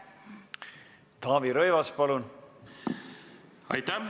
Taavi Rõivas, palun!